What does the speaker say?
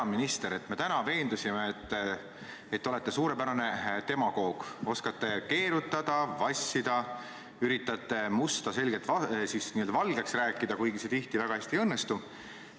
Hea minister, me täna veendusime, et te olete suurepärane demagoog, oskate keerutada, vassida, üritate musta ilmselgelt valgeks rääkida, kuigi see tihti väga hästi ei õnnestu.